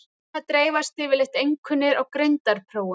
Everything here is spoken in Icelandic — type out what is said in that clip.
Svona dreifast yfirleitt einkunnir á greindarprófum.